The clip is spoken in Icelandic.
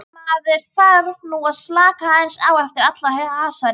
Maður þarf nú að slaka aðeins á eftir allan hasarinn.